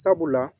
Sabula